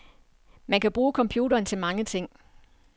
Man kan bruge computeren til mange ting.